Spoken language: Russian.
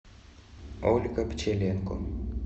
ольга пчеленко